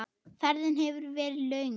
Ferðin hefur verið löng.